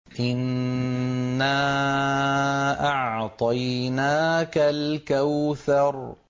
إِنَّا أَعْطَيْنَاكَ الْكَوْثَرَ